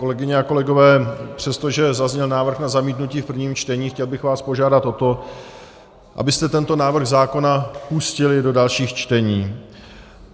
Kolegyně a kolegové, přestože zazněl návrh na zamítnutí v prvním čtení, chtěl bych vás požádat o to, abyste tento návrh zákona pustili do dalších čtení.